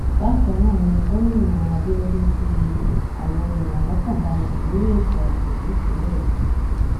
bákan náà ni gómìnà abiodun fi àwọn èèyàn lọkàn balẹ lórí ètò ààbò nípínlẹ yìí